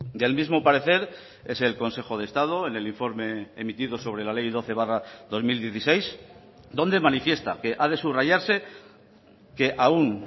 del mismo parecer es el consejo de estado en el informe emitido sobre la ley doce barra dos mil dieciséis donde manifiesta que ha de subrayarse que aun